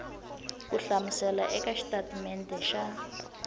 ku hlamusela eka xitatimede xa